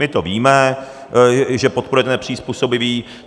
My to víme, že podporujete nepřizpůsobivé.